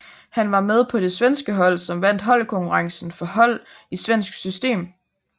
Han var med på det svenske hold som vandt holdkonkurrencen for hold i svensk system